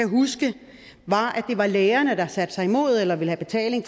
huske det var at det var lægerne der satte sig imod eller ville have betaling